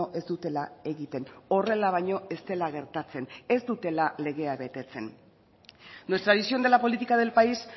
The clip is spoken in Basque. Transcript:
ez dutela egiten horrela baino ez dela gertatzen ez dutela legea betetzen nuestra visión de la política del país